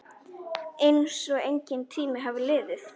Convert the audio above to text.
Einsog enginn tími hafi liðið.